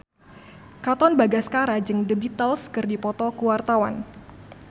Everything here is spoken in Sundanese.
Katon Bagaskara jeung The Beatles keur dipoto ku wartawan